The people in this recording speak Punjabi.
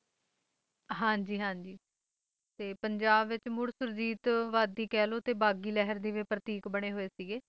ਹਾਂ ਜੀ ਹਾਂ ਜੀ ਤੇ ਪੰਜਾਬ ਵਿੱਚ ਮੁੜ ਸੁਰਜੀਤ ਵਾਦੀ ਕਹਿ ਲੋ ਤੇ ਬਾਕੀ ਦੇ ਵੀ ਪ੍ਰਤੀਕ ਬਣਾਏ ਹੋਏ ਸੀਗੇ